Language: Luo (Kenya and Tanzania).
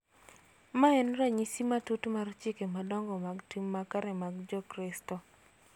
Mae en ranyisi matut mar chike madongo mag tim makare mag Jokristo